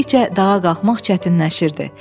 Getdikcə dağa qalxmaq çətinləşirdi.